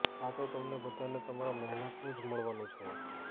આ તો તમને બધાને તમારા મહેનતનું જ મળવાનું છે